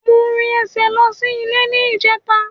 Mo rìn ẹsẹ̀ lọ sí ilé ní ìjẹta